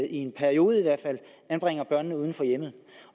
i en periode anbringes uden for hjemmet